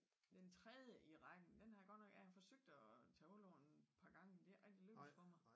Den tredje i rækken den har jeg godt nok jeg har forsøgt at tage hul på en et par gange det er ikke rigtig lykkedes for mig